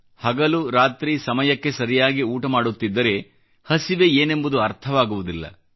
ಹಗಲು ರಾತ್ರಿ ಸಮಯಕ್ಕೆ ಸರಿಯಾಗಿ ಊಟ ಮಾಡುತ್ತಿದ್ದರೆ ಹಸಿವೆ ಏನೆಂಬುದು ಅರ್ಥವಾಗುವುದಿಲ್ಲ